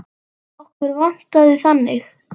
Okkur vantaði þannig.